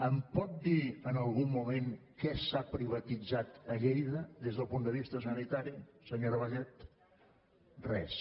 em pot dir en algun moment què s’ha privatitzat a lleida des del punt de vista sanitari senyora vallet res